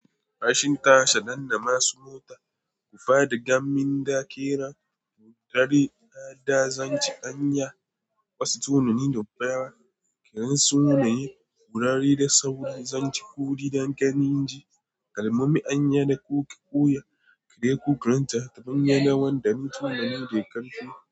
Rashin tasha, dannan masu mota, ku faɗi gam min da ƙera, ku ɗare da daza ci ƙanya, kwasa tononi da baya, ƙeran sume, ƙurar da sauri, zanci kuɗi da ƙanin ji, kalmomi an yi da ku ki ɓuya, kiriyo ku granta, tabanya lawandamin turmi ne kantin.